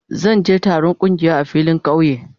Zan je je taron kungiya a filin kauye.